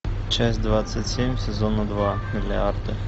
часть двадцать семь сезона два миллиарды